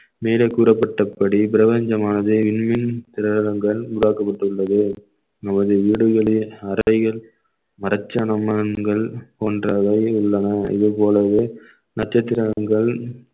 மேலே கூறப்பட்டபடி பிரபஞ்சமானது விண்வெளி கிரகங்கள் உருவாக்கப்பட்டுள்ளது நமது வீடுகளில் அறைகள் மரச்சாமான்கள் போன்றவை உள்ளன இதுபோலவே நட்சத்திரங்கள்